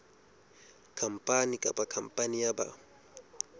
khampani kapa khampani ya ba